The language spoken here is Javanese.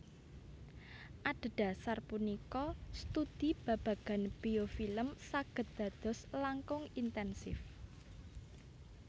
Adhedhasar punika studi babagan biofilm saged dados langkung intènsif